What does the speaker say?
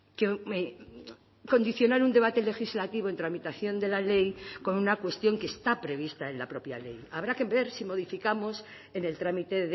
que condicionar un debate legislativo en tramitación de la ley con una cuestión que está prevista en la propia ley habrá que ver si modificamos en el trámite